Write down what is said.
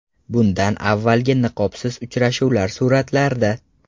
Bundan avvalgi niqobsiz uchrashuvlar suratlarda.